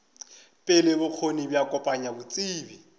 pele bokgoni bja kopanya botsebi